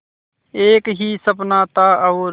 एक ही सपना था और